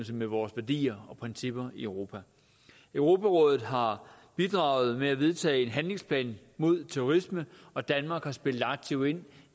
med vores værdier og principper i europa europarådet har bidraget med at vedtage en handlingsplan mod terrorisme og danmark har spillet aktivt ind